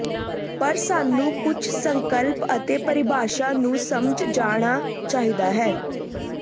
ਪਰ ਸਾਨੂੰ ਕੁਝ ਸੰਕਲਪ ਅਤੇ ਪਰਿਭਾਸ਼ਾ ਨੂੰ ਸਮਝ ਜਾਣਾ ਚਾਹੀਦਾ ਹੈ